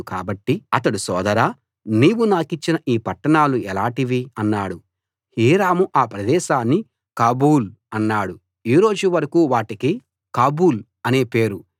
కాబట్టి అతడు సోదరా నీవు నాకిచ్చిన ఈ పట్టణాలు ఎలాటివి అన్నాడు హీరాము అ ప్రదేశాన్ని కాబూల్ అన్నాడు ఈ రోజు వరకూ వాటికి కాబూల్‌ అని పేరు